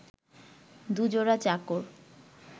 দু-জোড়া চাকর